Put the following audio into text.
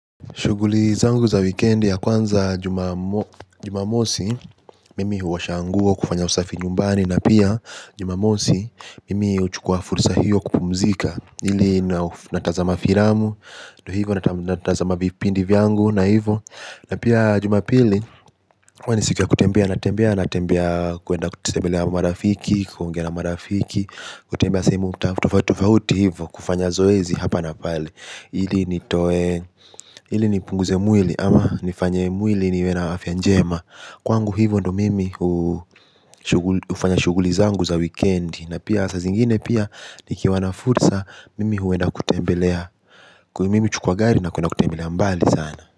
Shughuli zangu za wikendi ya kwanza jumamo jumamosi, mimi huosha nguo kufanya usafi nyumbani na pia jumamosi mimi huchukua furusa hiyo kupumzika. Ili natazama filamu, ndio hivyo natazama vipindi vyangu na hivyo. Na pia jumapili huwa ni siku ya kutembea, natembea, natembea kuenda kutembelea marafiki, kuongea na marafiki, kutembea sehemu tofauti tofauti hivyo kufanya zoezi hapa na pale. Ili nitoe, ili nipunguze mwili ama nifanye mwili niwe na afya njema kwangu hivyo ndo mimi huu ufanya shughuli zangu za wikendi. Na pia saa zingine pia nikiwa na fursa mimi huenda kutembelea. Kwa mimi huchukua gari na kwenda kutembelea mbali sana.